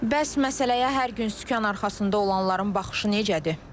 Bəs məsələyə hər gün sükan arxasında olanların baxışı necədir?